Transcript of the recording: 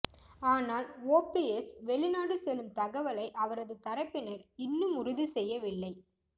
ஆனால் ஓபிஎஸ் வெளிநாடு செல்லும் தகவலை அவரது தரப்பினர் இன்னும் உறுதி செய்யவில்லை